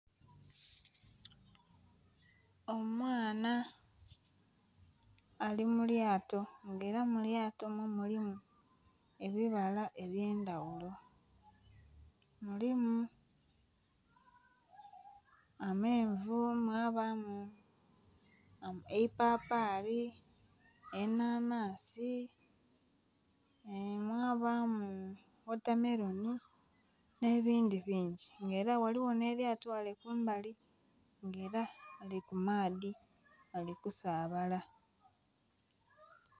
Omwana ali mu lyato nga ela mu lyato omwo mulimu ebibala eby'endaghulo. Mulimu amenvu mwabaamu eipapali, enhanhansi, mwabaamu wotameroni nh'ebindhi bingi nga ela ghaligho nh'elyato ghale kumbali nga ela lili ku maadhi lili kusaabala.